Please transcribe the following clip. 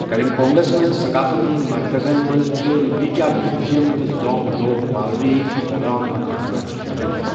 کلِمپونگَس منٛز ثقافتی مرکزَن منٛز چھِ لیپچا میوٗزیم تہٕ زانگ ڈوک پالری پھوڈانگ خانقاہ شٲمِل۔